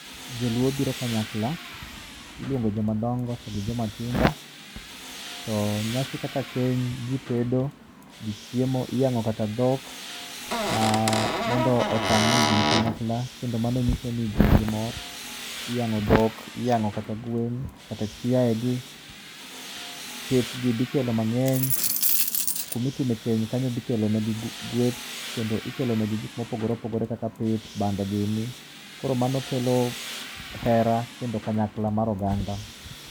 Joluo biro kanyakla iluongo joma dongo gi joma tindo to nyasi kaka keny jitedo jichiemo iyang'o kata dhok mondo otang' ni ji ni kanyakla kendo mano nyiso ni ji nigi mor iyango dhok iyango kata gwen kata chiaye gi. Pith gi bikelo mangeny kumi timo keny ni bikelo ne gi gweth kendo ikelo ne gi gik mopogore opogore kaka pith, bando gini koro mano kelo hera kendo kanyakla mar oganda